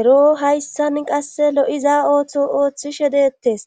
ero hayssan qasse lo'iza ooththo ooththishe deettes,